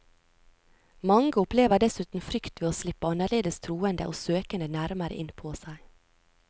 Mange opplever dessuten frykt ved å slippe annerledes troende og søkende nærmere inn på seg.